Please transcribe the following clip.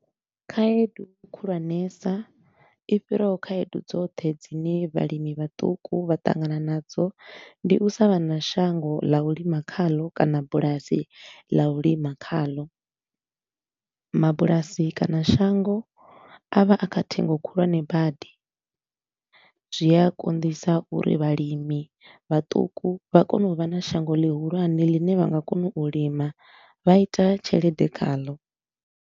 Khaedu khulwanesa i fhiraho khayedu dzoṱhe dzine vhalimi vhaṱuku vha ṱangana nadzo, ndi u sa vhana shango ḽa u lima khalo kana bulasi ḽa u lima khalo. Mabulasi kana shango a vha a kha ṱhengo khulwane badi, zwia konḓisa uri vhalimi vhaṱuku vha kone u vha na shango ḽihulwane ḽine vha nga kona u lima vha ita tshelede khalo.